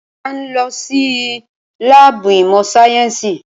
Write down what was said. A ń lọ sí láàbù ìmọ̀ sáyẹ́nsì.